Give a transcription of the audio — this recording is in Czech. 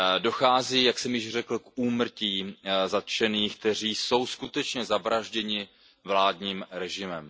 Dochází, jak jsem již řekl, k úmrtím zatčených, kteří jsou skutečně zavražděni vládním režimem.